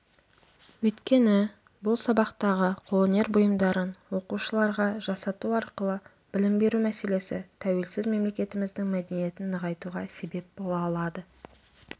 өйткені бұл сабақтағы қолөнер бұйымдарын оқушыларға жасату арқылы білім беру мәселесі тәуелсіз мемлекетіміздің мәдениетін нығайтуға себеп бола алады